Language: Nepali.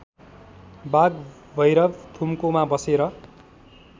वागभैरव थुम्कोमा बसेर